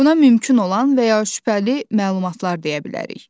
Buna mümkün olan və ya şübhəli məlumatlar deyə bilərik.